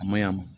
A maɲa